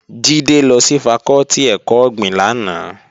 Jídé lọ sí fakọ́tì ẹ̀kọ́ ọ̀gbìn lánàá